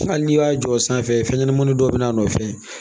Hali n'i y'a jɔ sanfɛ fɛn ɲɛnamanin dɔ bɛ n'a nɔfɛ